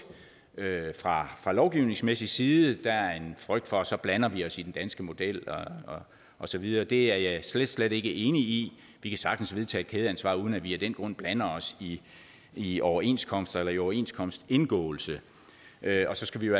fra lovgivningsmæssig side der er en frygt for at så blander vi os i den danske model og så videre det er jeg slet slet ikke enig i vi kan sagtens vedtage et kædeansvar uden at vi af den grund blander os i i overenskomster eller i overenskomstindgåelse og så skal vi